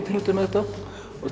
með þetta